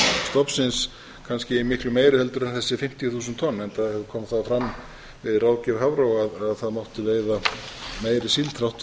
stofnsins kannski miklu meiri heldur en þessi fimmtíu þúsund tonn enda kom það fram við ráðgjöf hafró að það mátti veiða meiri síld þrátt